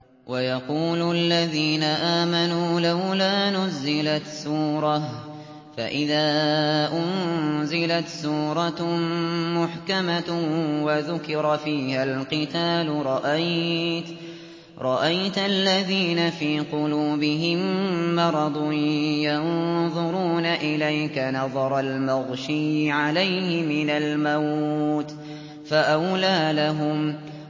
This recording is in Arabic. وَيَقُولُ الَّذِينَ آمَنُوا لَوْلَا نُزِّلَتْ سُورَةٌ ۖ فَإِذَا أُنزِلَتْ سُورَةٌ مُّحْكَمَةٌ وَذُكِرَ فِيهَا الْقِتَالُ ۙ رَأَيْتَ الَّذِينَ فِي قُلُوبِهِم مَّرَضٌ يَنظُرُونَ إِلَيْكَ نَظَرَ الْمَغْشِيِّ عَلَيْهِ مِنَ الْمَوْتِ ۖ فَأَوْلَىٰ لَهُمْ